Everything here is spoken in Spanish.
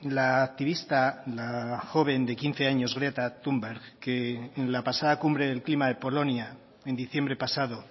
la activista la joven de quince años greta thunberg que en la pasada cumbre del clima de polonia en diciembre pasado